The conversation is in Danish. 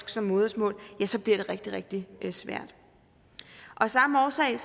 som modersmål ja så bliver det rigtig rigtig svært af samme årsag